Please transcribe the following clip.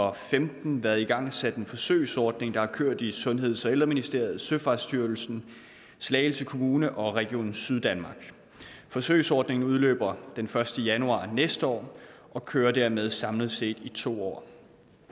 og femten været igangsat en forsøgsordning der har kørt i sundheds og ældreministeriet søfartsstyrelsen slagelse kommune og region syddanmark forsøgsordningen udløber den første januar næste år og kører dermed samlet set i to år